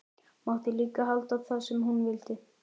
Mátti líka halda það sem hún vildi.